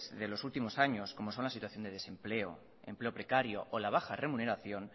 de los últimos años como son la situación de desempleo empleo precario o la baja remuneración